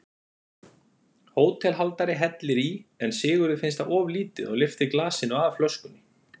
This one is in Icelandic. Hótelhaldari hellir í en Sigurði finnst það of lítið og lyftir glasinu að flöskunni.